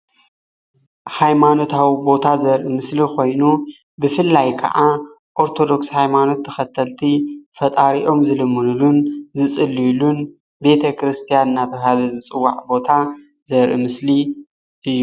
ሃይማኖታዊ ቦታ ዘርኢ ምስሊ ኮይኑ ብፍላይ ከዓ ኦርቶዶክስ ሃይማኖት ተከተልቲ ፈጣሪኦም ዝልምንሉን ዝፅልዩልን ቤተ ክርስትያን እናተባሃለ ዝፅዋዕ ቦታ ዘርኢ ምስሊ እዩ፡፡